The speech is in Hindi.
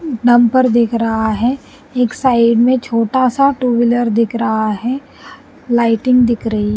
ऊ डंपर दिख रहा है एक साइड में छोटा सा टू व्हीलर दिख रहा है लाइटिंग दिख रही --